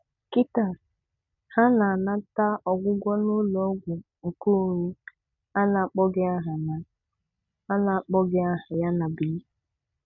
Kịtaa, ha na-anata ọgwụgwọ n'ụlọọgwụ nkeonwe a na-akpọghị aha a na-akpọghị aha ya na Benin.